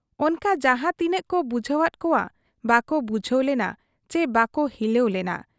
ᱚᱱᱠᱟ ᱡᱟᱦᱟᱸ ᱛᱤᱱᱟᱹᱜ ᱠᱚ ᱵᱩᱡᱷᱟᱹᱣᱟᱫ ᱠᱚᱣᱟ ᱵᱟᱠᱚ ᱵᱩᱡᱷᱟᱹᱣ ᱞᱮᱱᱟ ᱪᱤ ᱵᱟᱠᱚ ᱦᱤᱞᱟᱹᱣ ᱞᱮᱱᱟ ᱾